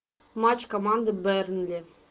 матч команды бернли